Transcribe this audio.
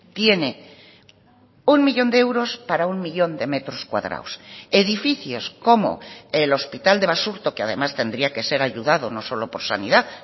tiene uno millón de euros para uno millón de metros cuadrados edificios como el hospital de basurto que además tendría que ser ayudado no solo por sanidad